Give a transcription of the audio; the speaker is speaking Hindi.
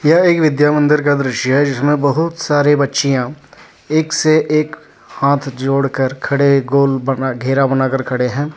यह एक विद्या मंदिर का दृश्य है जिसमें बहुत सारे बच्चियां एक से एक हाथ जोड़ कर खड़े गोल बना घेरा बना कर खड़े हैं।